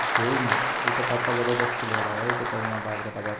कोई न एका पापा जबरदस्ती लेर आया है इक ताय इया बाल कटाबा --